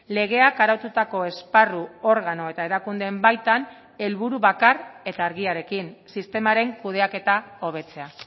legeak araututako esparru organo eta erakundeen baitan helburu bakar eta argiarekin sistemaren kudeaketa hobetzea